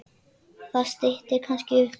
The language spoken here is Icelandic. Það styttir kannski upp.